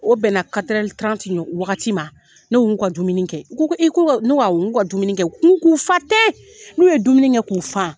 O bɛnna wagati ma. Ne n k'u ka dumuni kɛ , u ko ko ee ko ka, ne ko awɔ k'u ka dumuni kɛ, n k'u k'u fa tɛ. N'u ye dumuni kɛ k'u fa